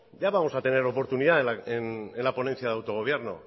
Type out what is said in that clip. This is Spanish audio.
ya vamos a tener oportunidad en la ponencia de autogobierno